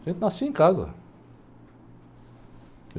A gente nascia em casa.